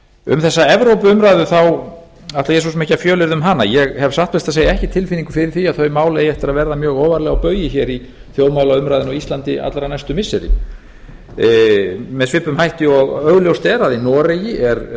um þessa evrópuumræðu ætla ég svo sem ekki að fjölyrða um hana ég hef satt best að segja ekki tilfinningu fyrir því að þau mál eigi eftir að verða mjög ofarlega á baugi hér í þjóðmálaumræðunni á íslandi allra næstu missiri með svipuðum hætti og augljóst er að í noregi